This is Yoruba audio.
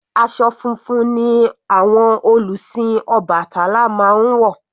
Aṣọ funfun ni àwọn olùsìn obatala máa ń wọ̀.